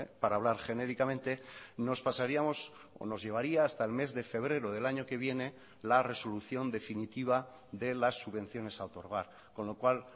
para hablar genéricamente nos pasaríamos o nos llevaría hasta el mes de febrero del año que viene la resolución definitiva de las subvenciones a otorgar con lo cual